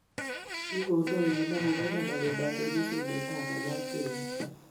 Ki kondoiywo ak kogono awendotee mesundeito ama Lapkeiyet.